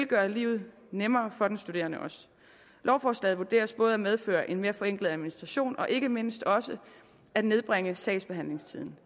gøre livet nemmere for den studerende lovforslaget vurderes både at medføre en mere forenklet administration og ikke mindst også at nedbringe sagsbehandlingstiden